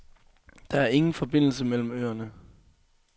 Der er ingen forbindelse mellem øerne.